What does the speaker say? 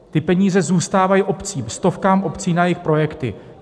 Ty peníze zůstávají obcím, stovkám obcí na jejich projekty.